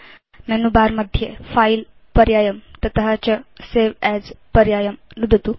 menu bar मध्ये file पर्यायं ततश्च सवे अस् पर्यायं नुदतु